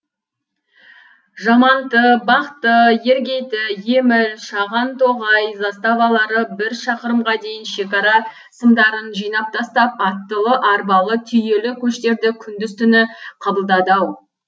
жаманты бақты ергейті еміл шағантоғай заставалары бір шақырымға дейін шекара сымдарын жинап тастап аттылы арбалы түйелі көштерді күндіз түні қабылдады ау